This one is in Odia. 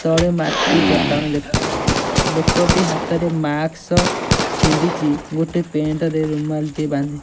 ତଳେ ମାଟି ଚଟାଣ ଦେଖାଯାଉଛି। ଲୋକ ଟେ ହାତ ରେ ମାସ୍କ ପିନ୍ଧିଚି ଗୋଟେ ପେଣ୍ଟ ରେ ରୁମାଲ୍ ଟେ ବାନ୍ଧି --